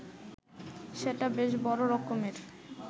সেটা বেশ বড় রকমের